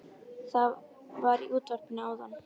Það var í útvarpinu áðan